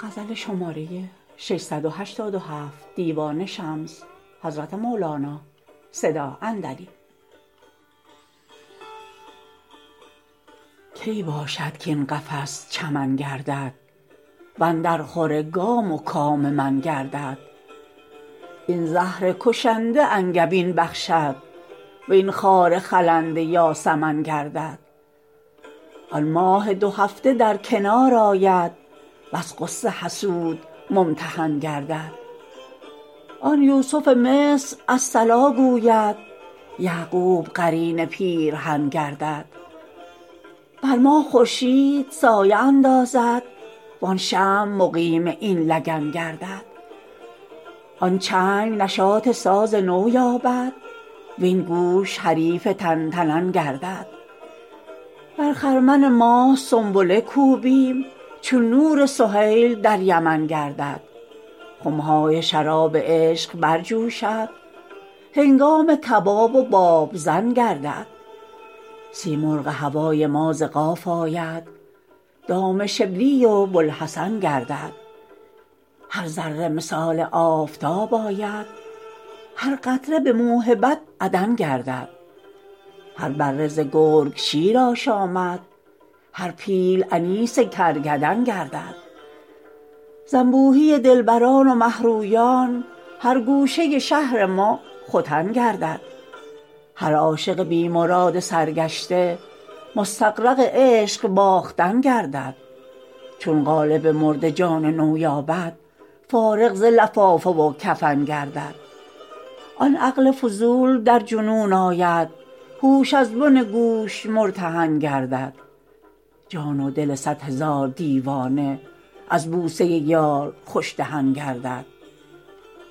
کی باشد کاین قفس چمن گردد و اندرخور گام و کام من گردد این زهر کشنده انگبین بخشد وین خار خلنده یاسمن گردد آن ماه دو هفته در کنار آید وز غصه حسود ممتحن گردد آن یوسف مصر الصلا گوید یعقوب قرین پیرهن گردد بر ما خورشید سایه اندازد وان شمع مقیم این لگن گردد آن چنگ نشاط ساز نو یابد وین گوش حریف تن تنن گردد در خرمن ماه سنبله کوبیم چون نور سهیل در یمن گردد خم های شراب عشق برجوشد هنگام کباب و بابزن گردد سیمرغ هوای ما ز قاف آید دام شبلی و بوالحسن گردد هر ذره مثال آفتاب آید هر قطره به موهبت عدن گردد هر بره ز گرگ شیر آشامد هر پیل انیس کرگدن گردد ز انبوهی دلبران و مه رویان هر گوشه شهر ما ختن گردد هر عاشق بی مراد سرگشته مستغرق عشق باختن گردد چون قالب مرده جان نو یابد فارغ ز لفافه و کفن گردد آن عقل فضول در جنون آید هوش از بن گوش مرتهن گردد جان و دل صد هزار دیوانه از بوسه یار خوش دهن گردد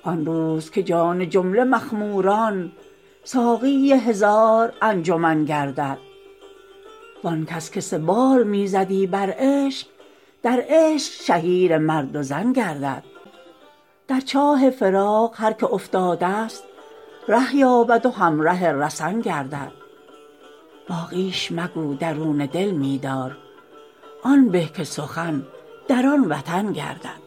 آن روز که جان جمله مخموران ساقی هزار انجمن گردد وان کس که سبال می زدی بر عشق در عشق شهیر مرد و زن گردد در چاه فراق هر کی افتاده ست ره یابد و همره رسن گردد باقیش مگو درون دل می دار آن به که سخن در آن وطن گردد